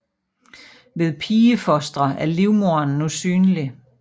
Ved pigefostre er livmoderen nu synlig